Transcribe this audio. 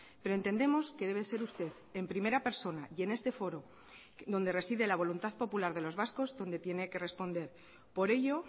pero entendemos que debe ser usted en primera persona y en este foro donde reside la voluntad popular de los vascos donde tiene que responder por ello